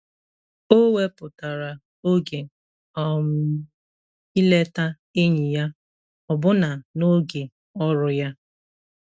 O wepụtara oge um ileta enyi ya, ọbụna n'oge ọrụ ya.